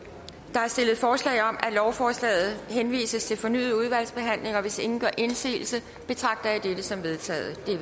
der er stillet forslag om at lovforslaget henvises til fornyet udvalgsbehandling og hvis ingen gør indsigelse betragter jeg dette som vedtaget det